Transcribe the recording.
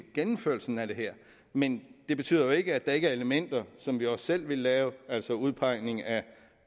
gennemførelsen af det her men det betyder jo ikke at der ikke er elementer som vi også selv ville lave altså udpegning af